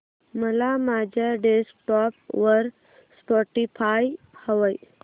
मला माझ्या डेस्कटॉप वर स्पॉटीफाय हवंय